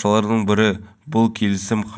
бұдан бөлек уағыз айтушының